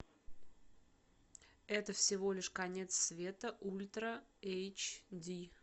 это всего лишь конец света ультра эйч ди